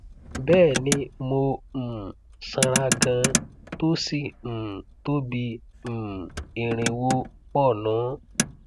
bẹẹni mo um sanra ganan tó sí um tó bí um irinwó pọnùn